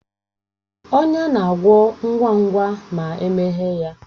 Ọnya na-agwọ ngwa ngwa ma emeghe ya